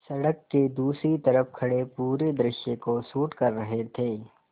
सड़क के दूसरी तरफ़ खड़े पूरे दृश्य को शूट कर रहे थे